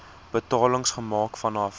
betalings gemaak vanaf